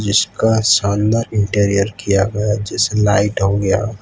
इसका शानदार इंटीरियर किया गया जैसे लाइट हो गया --